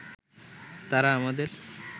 তারা আমাদের